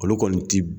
Olu kɔni ti